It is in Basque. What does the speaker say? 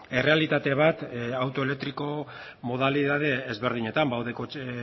errealitate bat auto elektriko modalitate ezberdinetan badaude kotxe